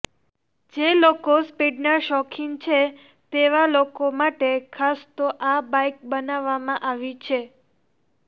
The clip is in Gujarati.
જે લોકો સ્પીડના શોખીન છે તેવા લોકો માટે ખાસ તો આ બાઇક બનવવામાં આવી છે